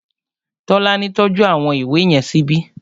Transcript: Tọ́lání tọ́jú àwọn ìwé yẹn síbi